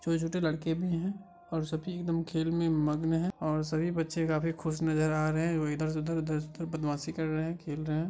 छोटे - छोटे लड़के भी हैं और सभी एकदम खेल में मग्न मगन हैं सभी बच्चे काफी खुस नज़र आ रहे हैं वो इधर से उधर - उधर से इधर बदमाशी कर रहे हैं खेल रहे हैं--